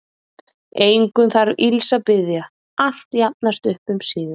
Engum þarf ills að biðja, allt jafnast upp um síðir.